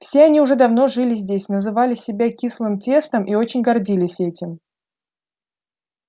все они уже давно жили здесь называли себя кислым тестом и очень гордились этим